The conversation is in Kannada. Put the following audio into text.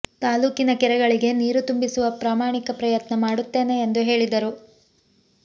ತಾಲೂಕಿನ ಕೆರೆಗಳಿಗೆ ನೀರು ತುಂಬಿಸುವ ಪ್ರಾಮಾಣಿಕ ಪ್ರಯತ್ನ ಮಾಡುತ್ತೇನೆ ಎಂದು ಹೇಳಿದರು